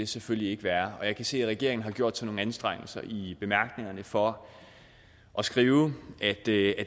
selvfølgelig ikke være og jeg kan se at regeringen har gjort sig nogle anstrengelser i bemærkningerne for at skrive at det